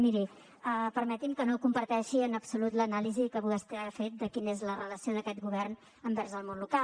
miri permeti’m que no comparteixi en absolut l’anàlisi que vostè ha fet de quina és la relació d’aquest govern envers el món local